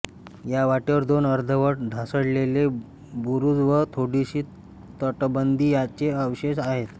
या वाटेवर दोन अर्धवट ढासळलेले बुरुज व थोडीशी तटबंदी यांचे अवशेष आहेत